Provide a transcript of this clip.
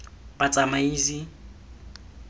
batsamaisi